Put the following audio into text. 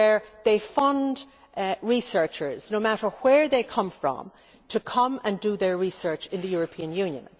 It funds researchers, no matter where they come from, to come and do their research in the European Union.